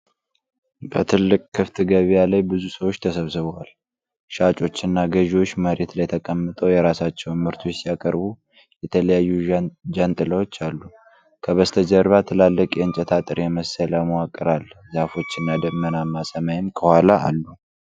በትልቅ ክፍት ገበያ ላይ ብዙ ሰዎች ተሰብስበዏል። ሻጮችና ገዢዎች መሬት ላይ ተቀምጠው የራሳቸውን ምርቶች ሲያቀርቡ፣ የተለያዩ ጃንጥላዎች አሉ። ከበስተጀርባ ትላልቅ የእንጨት አጥር የመሰለ መዋቅር አለ፤ ዛፎችና ደመናማ ሰማይም ከኋላ አሉ።